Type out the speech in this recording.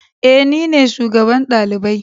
Eh, nine shugaban dalibai.